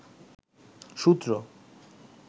সূত্র